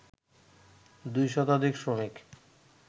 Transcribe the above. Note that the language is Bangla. দুই শতাধিক শ্রমিক